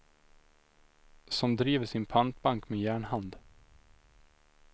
Som driver sin pantbank med järnhand.